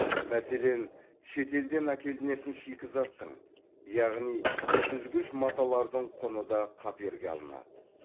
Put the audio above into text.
мәселен шетелден әкелінетін шикізаттың яғни сүзгіш маталардың құны да қаперге алынады